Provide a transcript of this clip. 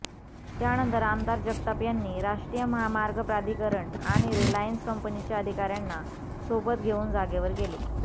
त्यानंतर आमदार जगताप यांनी राष्ट्रीय महामार्ग प्राधिकरण आणि रिलायन्स कंपनीच्या अधिकाऱ्यांना सोबत घेऊन जागेवर गेले